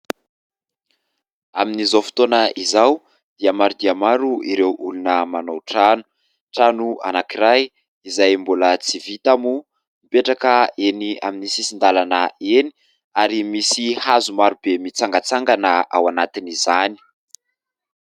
Amin'izao fotoana izao dia maro dia maro ireo olona manao trano. Trano anankiray izay mbola tsy vita moa mipetraka eny amin'ny sisin-dalana eny ary misy hazo maro be mitsangatsangana ao anatiny izany.